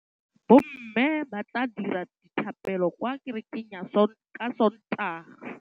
Bommê ba tla dira dithapêlô kwa kerekeng ka Sontaga.